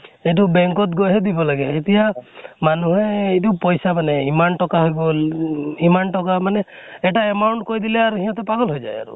সেইটো bank ত গৈ হে দিব লাগে। এতিয়া মানুহে এইটো পইচা মানে, ইমান টকা হৈ গল ইমান টকা মানে এটা amount কৈ দিলে আৰু সিহঁতে পাগল হৈ যায় আৰু।